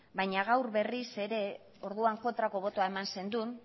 baina gaur berriz ere orduan kontrako botoa eman zenuen